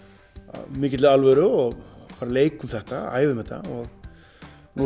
af mikilli alvöru og leikum þetta æfum þetta nú